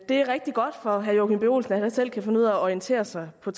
det er rigtig godt for herre joachim b olsen at han selv kan finde ud af at orientere sig på